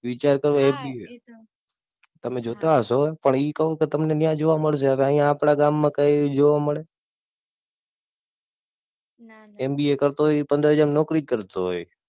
વિચાર કરો. તમે જોતા હસો પણ ઈ કઉ તમને ત્યાં જોવા મળશે. હવે અહિયાં આપણા ગામ મા કઈ જોવા મળે MBA કરતો હોય એ પંદર હાજર માં નોકરી જ કરતો હોય.